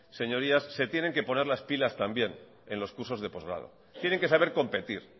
señorías se tienen que poner las pilas también en los cursos de postgrado tienen que saber competir